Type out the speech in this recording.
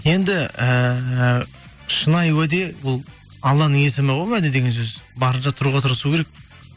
енді ііі шынайы уәде ол алланың есімі ғой уәде деген сөз барынша тұруға тырысу керек